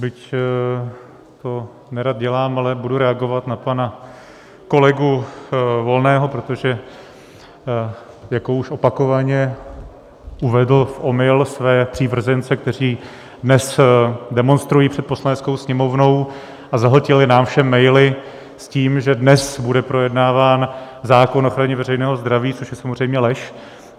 Byť to nerad dělám, ale budu reagovat na pana kolegu Volného, protože jako už opakovaně uvedl v omyl své přívržence, kteří dnes demonstrují před Poslaneckou sněmovnou a zahltili nám všem maily s tím, že dnes bude projednáván zákon o ochraně veřejného zdraví, což je samozřejmě lež.